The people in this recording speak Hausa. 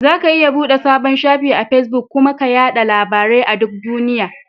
Zaka iya buɗe sabon shafi a Fesbuk kuma ka yaɗa labarai a duk duniya.